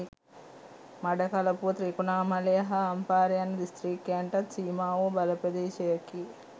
මඩකළපුව ත්‍රිකුණාමලය හා අම්පාර යන දිස්ත්‍රික්කයන්ටත් සීමාවූ බලප්‍රදේශයකි